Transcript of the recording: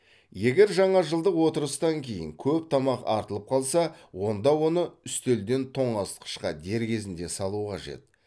егер жаңажылдық отырыстан кейін көп тамақ артылып қалса онда оны үстелден тоңазытқышқа дер кезінде салу қажет